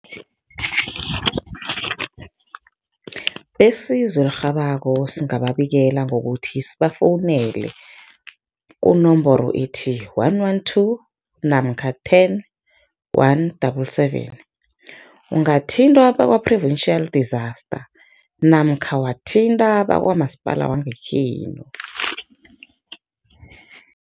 Besizo elirhabako singababikela ngokuthi sibafowunele kunomboro ethi, one one two namkha ten one double seven. Ungathinta bakwa-provincial disaster namkha wathinta bakwamasipala wangekhenu.